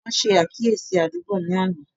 Wọn ṣe àkíyèsí àdúgbò ni àná